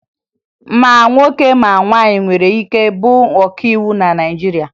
Ma nwoke ma nwaanyị nwere ike ịbụ ọkàiwu na Naịjirịa